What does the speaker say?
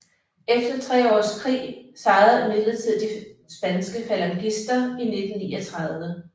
Efter tre års krig sejrede imidlertid de spanske falangister i 1939